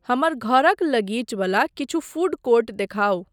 हमर घरक लगीच वला किछु फ़ूड कोर्ट देखाउ।